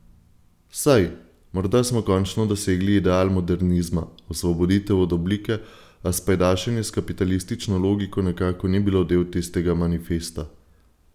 Saj, morda smo končno dosegli ideal modernizma, osvoboditev od oblike, a spajdašenje s kapitalistično logiko nekako ni bilo del tistega manifesta.